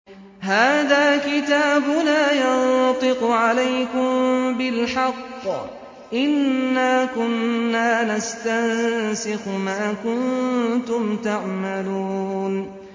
هَٰذَا كِتَابُنَا يَنطِقُ عَلَيْكُم بِالْحَقِّ ۚ إِنَّا كُنَّا نَسْتَنسِخُ مَا كُنتُمْ تَعْمَلُونَ